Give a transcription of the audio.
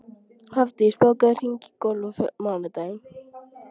Hafdís, bókaðu hring í golf á mánudaginn.